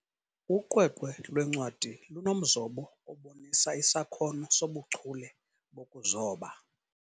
Uqweqwe lwencwadi lunomzobo obonisa isakhono sobuchule bokuzoba.